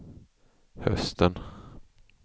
hösten